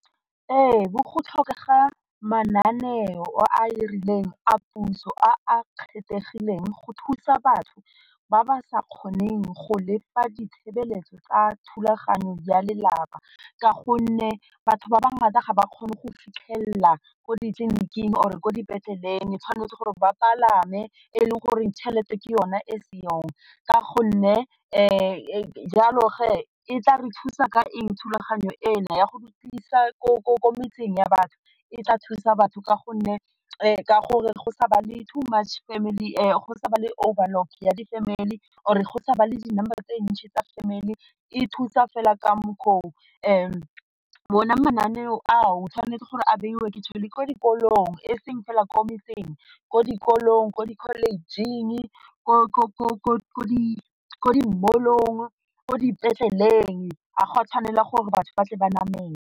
Ebu go tlhokega mananeo a a rileng a puso a a kgethegileng go thusa batho ba ba sa kgoneng go lefa ditshebeletso tsa thulaganyo ya lelapa ka gonne batho ba ba ga ba kgone go fitlhelela ko ditleniking or e ko dipetleleng tshwanetse gore ba palame e leng goreng chelete ke yone e seyong ka gonne jalo ge e tla re thusa ka eng thulaganyo ena ya go rutisa ko metseng ya batho, e tla thusa batho ka gonne ka gore go sa ba le two much family, go sa ba le overlock ya di- family or go sa ba le di-number e ntši tsa family e thusa fela ka mokgwa o bona mananeo ao, tshwanetse gore a beiwe ke ko dikolong e seng fela ko metseng, ko dikolong, ko dikholetšheng, ko di mall-ong, ko dipetleleng a ga a tshwanela gore batho ba tle ba namele.